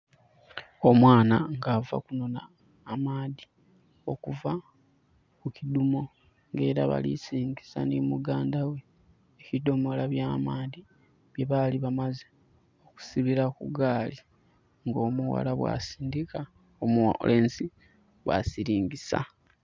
Omwana nga ava kunona amaadhi okuva kukiduumo era balisiringisa ni muganda we ebidomolo ebya maadhi bye bali bamaze okusibira ku gaali nga omughala bwa sindika nga omulenzi bwa siringisa